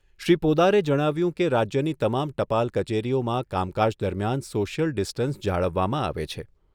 શ્રી પોદારે જણાવ્યું કે રાજ્યની તમામ ટપાલ કચેરીઓમાં કામ કાજ દરમિયાન સોશિયલ ડિસ્ટન્સ જાળવવામાં આવે છે.